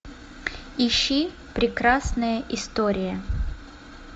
ищи прекрасная история